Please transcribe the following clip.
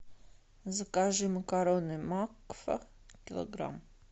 закажи макароны макфа килограмм